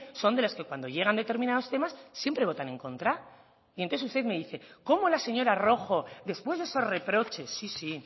son de los que cuando llegan determinados temas siempre votan en contra y entonces usted me dice cómo la señora rojo después de esos reproches sí sí